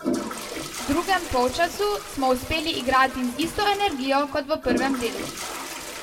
V drugem polčasu smo uspeli igrati z isto energijo kot v prvem delu.